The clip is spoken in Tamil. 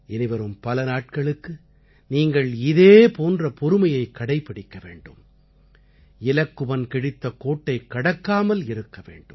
இனிவரும் பல நாட்களுக்கு நீங்கள் இதே போன்ற பொறுமையைக் கடைப்பிடிக்க வேண்டும் இலக்குவன் கிழித்த கோட்டைக் கடக்காமல் இருக்க வேண்டும்